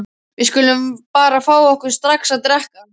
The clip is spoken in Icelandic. Við skulum bara fá okkur strax að drekka.